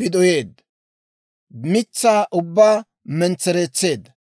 bidoyeedda; mitsaa ubbaa mentsereetseedda.